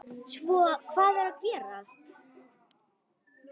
Svo hvað er að gerast?